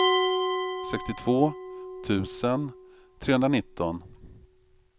sextiotvå tusen trehundranitton